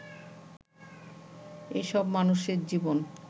এসব মানুষের জীবন